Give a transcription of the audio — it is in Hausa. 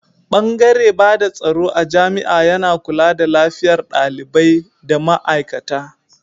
Bangare bada tsaro a jami'a yana kula da lafiyar dalibai da ma aikata.